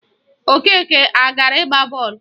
Okeke agara ịgba bọọlụ?